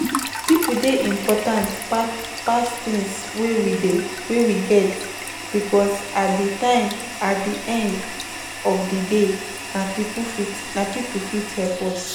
People dey important pass things wey we get because at di because at di end of di day na people fit help us